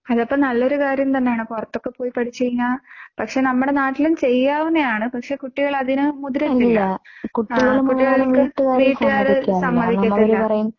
അതപ്പോ നല്ലൊരു കാര്യം തന്നെയാണ്. പുറത്തൊക്കെ പോയി പഠിച്ചു കഴിഞ്ഞാൽ പക്ഷേ നമ്മുടെ നാട്ടിലും ചെയ്യാവുന്നയാണ്. പക്ഷേ കുട്ടികൾ അതിന് മുതിരുന്നില്ല. കുട്ടികള്‍ക്ക് വീട്ടുകാര് സമ്മതിക്കത്തില്ല.